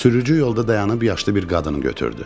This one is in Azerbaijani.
Sürücü yolda dayanıb yaşlı bir qadını götürdü.